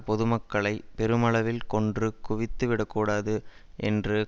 பொது மக்களை பெருமளவில் கொன்று குவித்து விடக்கூடாது என்று